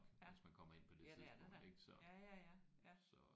Ja. Ja det er det da. Ja ja ja ja